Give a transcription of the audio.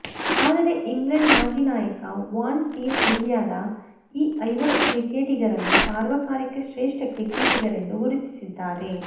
ಆದರೆ ಇಂಗ್ಲೆಂಡ್ ಮಾಜಿ ನಾಯಕ ವಾನ್ ಟೀಂ ಇಂಡಿಯಾದ ಈ ಐವರು ಕ್ರಿಕೆಟಿಗರನ್ನು ಸಾರ್ವಕಾಲಿಕ ಶ್ರೇಷ್ಠ ಕ್ರಿಕೆಟಿಗರೆಂದು ಗುರುತಿಸಿದ್ದಾರೆ